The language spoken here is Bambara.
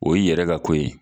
O y'i yɛrɛ ka ko ye